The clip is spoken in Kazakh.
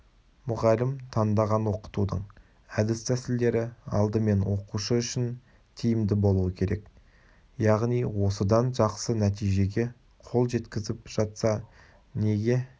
мұғалім таңдаған оқытудың әдіс-тәсілдері алдымен оқушы үшін тиімді болуы керек яғни осыдан жақсы нәтижеге қол жеткізіп жатса неге